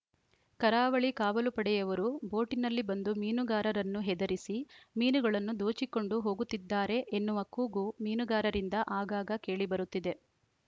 ಕರಾವಳಿ ಕಾವಲು ಪಡೆಯವರು ಬೋಟಿನಲ್ಲಿ ಬಂದು ಮೀನುಗಾರರನ್ನು ಹೆದರಿಸಿ ಮೀನುಗಳನ್ನು ದೋಚಿಕೊಂಡು ಹೋಗುತ್ತಿದ್ದಾರೆ ಎನ್ನುವ ಕೂಗು ಮೀನುಗಾರರಿಂದ ಆಗಾಗ ಕೇಳಿಬರುತ್ತಿದೆ